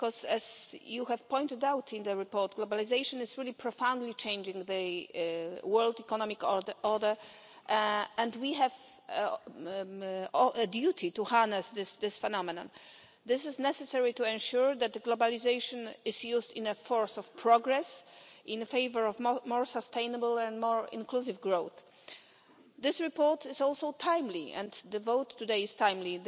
As you have pointed out in the report, globalisation is profoundly changing the world economic order, and we have a duty to harness this phenomenon. This is necessary to ensure that globalisation is used as a force for progress in favour of more sustainable and more inclusive growth. This report is also timely and the vote today is timely.